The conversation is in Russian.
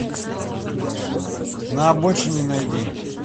на обочине найди